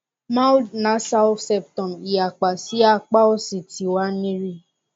mild nasal septum iyapa si apá òsì ti wa ni ri